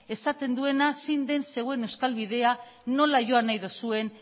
esaten duena zein den zeuen euskal bidea nola joan nahi duzuen